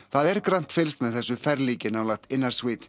það er grannt fylgst með þessu ferlíki nálægt